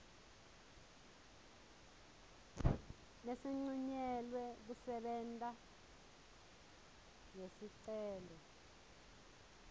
lesincunyelwe kusebenta lesicelo